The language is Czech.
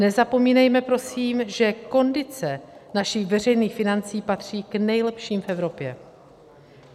Nezapomínejme prosím, že kondice našich veřejných financí patří k nejlepším v Evropě.